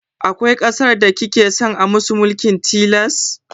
Akwai ƙasar da kika san an musu mulkin tilas?